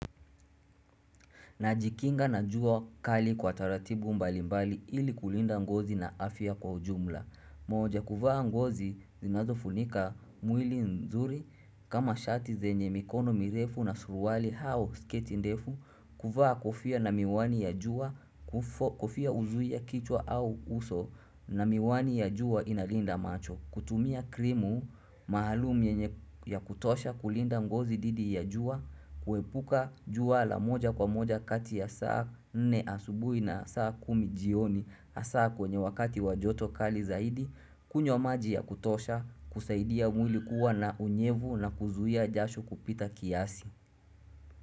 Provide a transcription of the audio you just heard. Najikinga na jua kali kwa taratibu mbalimbali ili kulinda ngozi na afya kwa ujumla. Moja, kuvaa nguo zinazofunika mwili nzuri kama shati zenye mikono mirefu na suruali au sketi ndefu. Kuvaa kofia na miwani ya jua, kofia huzuia kichwa au uso na miwani ya jua inalinda macho. Kutumia krimu, maalumu ya kutosha kulinda ngozi dhidi ya jua, kuepuka jua la moja kwa moja kati ya saa nne asubuhi na saa kumi jioni, hasa kwenye wakati wa joto kali zaidi, kunywa maji ya kutosha, kusaidia mwili kuwa na unyevu na kuzuia jasho kupita kiasi.